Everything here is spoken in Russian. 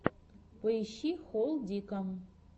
поищи холдика